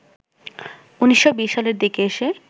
১৯২০ সালের দিকে এসে